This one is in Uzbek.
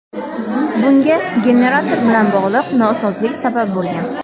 Bunga generator bilan bog‘liq nosozlik sabab bo‘lgan.